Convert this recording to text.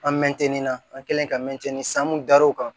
An mɛtɛnni na an kɛlen ka mɛtini san mun da r'o kan